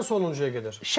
Birincidən sonuncuya qədər.